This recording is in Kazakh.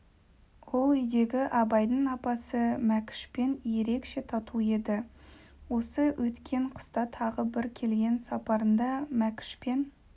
ол үйдегі абайдың апасы мәкішпен ерекше тату еді осы өткен қыста тағы бір келген сапарында мәкішпен